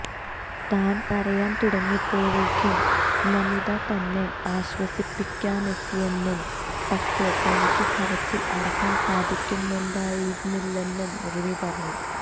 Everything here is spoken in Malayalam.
താൻ കരയാൻ തുടങ്ങിയപ്പോഴേക്കും നമിത തന്നെ ആശ്വസിപ്പിക്കാനെത്തിയെന്നും പക്ഷെ തനിക്ക് കരച്ചിൽ അടക്കാൻ സാധിക്കുന്നുണ്ടായിരുന്നില്ലെന്നും റിമി പറഞ്ഞു